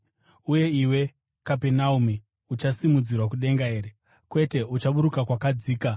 Uye iwe, Kapenaume, uchasimudzirwa kudenga here? Kwete, uchaburuka kwakadzika.